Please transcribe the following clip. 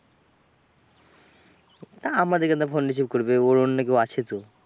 তা আমাদের কেন ফোন receive করবে? ওর অন্য কেউ আছেতো?